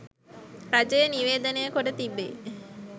රජය නිවේදනය කොට තිබේ.